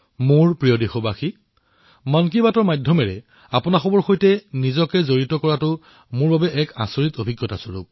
মোৰ মৰমৰ দেশবাসীসকল মন কী বাত কাৰ্যসূচীৰ সৈতে আপোনালোকৰ সৈতে জড়িত হোৱাটো মোৰ বাবে এক অনন্য অনুভৱ